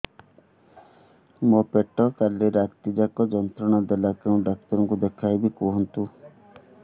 ମୋର ପେଟ କାଲି ରାତି ଯାକ ଯନ୍ତ୍ରଣା ଦେଲା କେଉଁ ଡକ୍ଟର ଙ୍କୁ ଦେଖାଇବି କୁହନ୍ତ